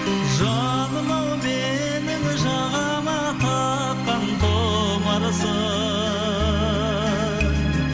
жаным ау менің жағаға таққан тұмарсың